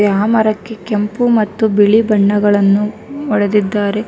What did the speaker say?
ಯಾ ಮರಕ್ಕೆ ಕೆಂಪು ಮತ್ತು ಬಿಳಿ ಬಣ್ಣಗಳನ್ನು ಹೊಳೆದಿದ್ದಾರೆ.